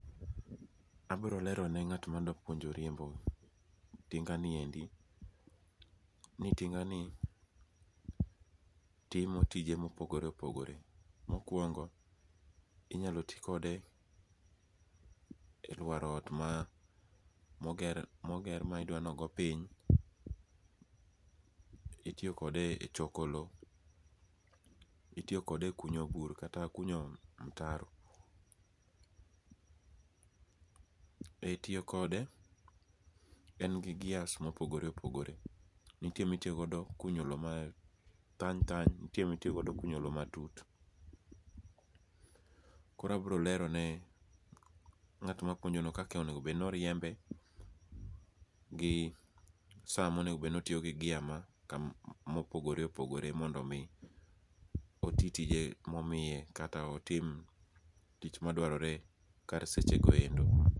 Abrolerone nga't madwa puonjo riembo tinganiendi ni tinga ni timo tije mopogore opogore, mokuongo' inyalo ti kode e luaro ot ma moger midwani ogo piny, itiyo kode e choko lo, itiyo kode e kunyo bur kata kunyo mtaro i tiyo kode en gi gears mopogore opogore nitie mitiyogodo e kunyo low ma thany thany, nitie mitiyo godo e kunyo lo ma tut, koro abrolerone nga'tma kunyono kaka onego bed ni oriembe gi samonego bed ni otiyo gi gear ma mopogore opogore mondo omi oti tije momiye kata otim tich madwarore kar sechegoendo.